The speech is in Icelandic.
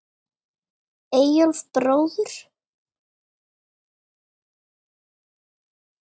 Eyjólf bróður.